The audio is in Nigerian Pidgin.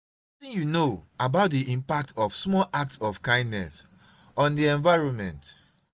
wetin you know about di impact of small acts of kindness on di environment?